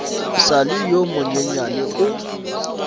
sa le yo monyenyane o